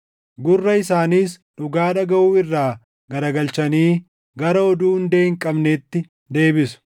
Gurra isaaniis dhugaa dhagaʼuu irraa garagalchanii gara oduu hundee hin qabneetti deebisu.